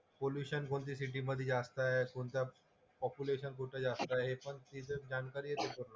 Pollution कोणत्या city मधे जास्त आहे, कोणत्या पॉप्युलेशन कुठलं जास्त आहे हे पण तिथंच जानकारी येते पण.